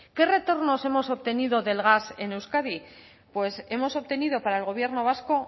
qué retornos hemos obtenido del gas en euskadi pues hemos obtenido para el gobierno vasco